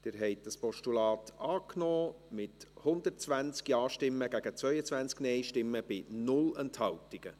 Sie haben das Postulat angenommen, mit 120 Ja- gegen 22 Nein-Stimmen bei 0 Enthaltungen.